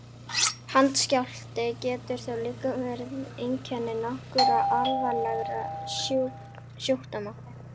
Handskjálfti getur þó líka verið einkenni nokkurra alvarlegra sjúkdóma.